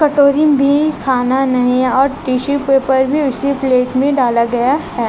कटोरी में खाना नहीं और टिशू पेपर भी इस प्लेट में डाला गया है।